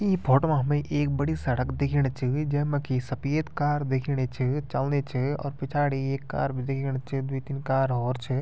इ फोटु मा हमे एक बड़ी सड़क दिखेणि च जेमा कि सपेद कार दिखेंणि च चलनी च और पिछाड़ी एक कार बि दिखेणि च द्वि तीन कार हौर छे।